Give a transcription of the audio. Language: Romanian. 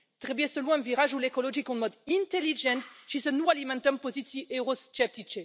Trebuie să luăm virajul ecologic în mod inteligent și să nu alimentăm poziții eurosceptice.